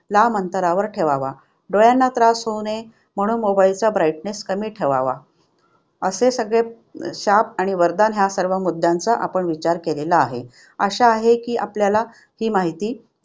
लांब अंतरावर ठेवावा. डोळ्यांना त्रास होऊ नये म्हणून mobile brightness कमी ठेवावा. असे सगळे शाप आणि वरदान या मुद्द्यांचा आपण विचार केलेला आहे. आशा आहे की आपल्याला ही माहिती